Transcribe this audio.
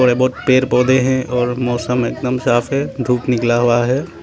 बहुत पेड़ पौधे हैं मौसम एकदम साफ है धूप निकला हुआ है।